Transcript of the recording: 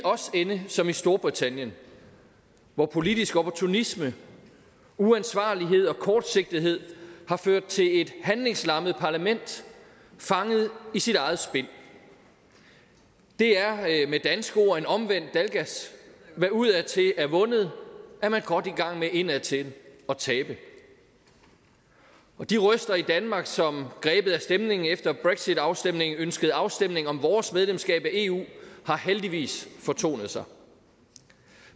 ende som storbritannien hvor politisk opportunisme uansvarlighed og kortsigtethed har ført til et handlingslammet parlament fanget i sit eget spind det er med danske ord en omvendt dalgas hvad udadtil er vundet er man godt i gang med indadtil at tabe de røster i danmark som grebet af stemningen efter brexitafstemningen ønskede afstemning om vores medlemskab af eu har heldigvis fortonet sig